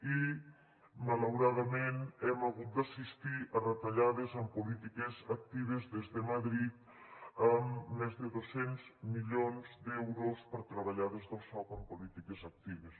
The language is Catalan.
i malauradament hem hagut d’assistir a retallades en polítiques actives des de madrid amb més de dos cents milions d’euros per treballar des del soc amb polítiques actives